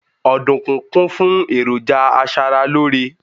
ọdunkun kún fún eroja aṣara lore